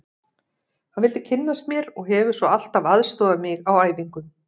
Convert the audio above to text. Hann vildi kynnast mér og hefur svo alltaf aðstoðað mig á æfingum.